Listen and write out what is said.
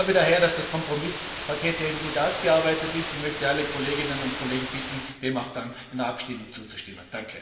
Ich glaube daher, dass das Kompromisspaket sehr gut ausgearbeitet ist, und möchte alle Kolleginnen und Kollegen bitten, dem auch dann in der Abstimmung zuzustimmen.